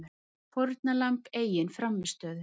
Fórnarlamb eigin frammistöðu